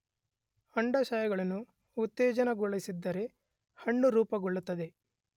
ಅಂಡಾಶಯಗಳನ್ನು ಉತ್ತೇಜನಗೊಳಿಸಿದರೆ ಹಣ್ಣು ರೂಪುಗೊಳ್ಳುತ್ತದೆ.